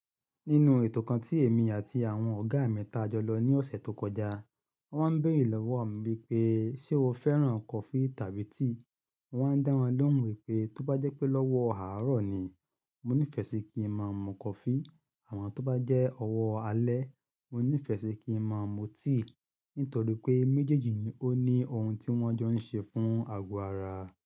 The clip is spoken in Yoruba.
Nínú ètò kan tí èmi àti àwọn ọ̀gá mi ta jọ lọ ní ọ̀sẹ̀ tó kọjá, wọ́n máa ń béèrè lọ́wọ́ mi wípé ṣe o fẹ́ràn coffee tàbí tea. Wọ́n á dá wọn lọ́wọ́ mi wípé tó bá jẹ́ pé lọ́wọ́ àárọ̀ ni, mo nífẹ̀ẹ́ sí kí ń máa mú coffee à mọn tó bá jẹ́ ọwọ́ alẹ́, mo nífẹ̀ẹ́ sí kí ń máa mú tea. Nítorí pé méjèèjì ni ó ní ohun tí wọ́n jọ ń ṣe fún àgọ́ ara.